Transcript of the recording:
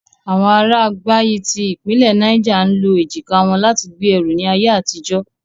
Awọn ara Gbagyi ti ipinle Niger ń lo ejika wọn lati gbe ẹru ni aye atijo.